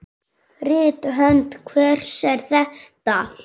Rithönd hvers er þetta?